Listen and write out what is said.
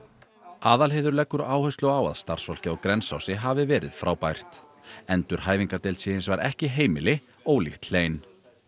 Aðalheiður leggur áherslu á að starfsfólkið á Grensási hafi verið frábært endurhæfingardeild sé hins vegar ekki heimili ólíkt hlein